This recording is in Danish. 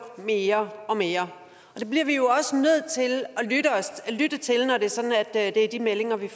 mere og mere og det bliver vi jo også nødt til at lytte til når det er de meldinger vi